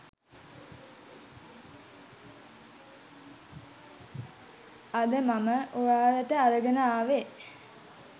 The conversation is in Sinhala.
අද මම ඔයාලට අරගෙන ආවේ.